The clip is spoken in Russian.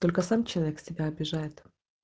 только сам человек себя обижает